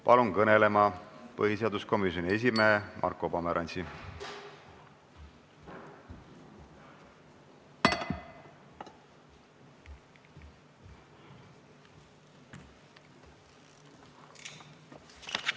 Palun kõnelema põhiseaduskomisjoni esimehe Marko Pomerantsi!